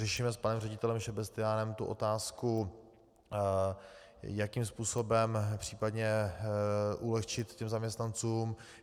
Řešíme s panem ředitelem Šebestyánem tu otázku, jakým způsobem případně ulehčit těm zaměstnancům.